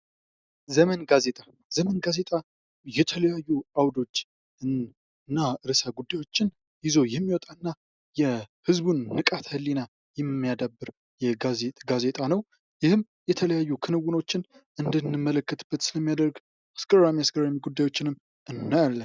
ዘመን ጋዜጣ ። ዘመን ጋዜጣ የተለያዩ አውዶችን እና ርእሰ ጉዳዮችን ይዞ የሚወጣ እና የህዝቡን ንቃተ ህሊና የሚያዳብር ጋዜጣ ነው ። ይህም የተለያዩ ክንውኖችን እንድንመለከትበት ስለሚያደርግ አስገራሚ አስገራሚ ጉዳዮችንም እናያለን ።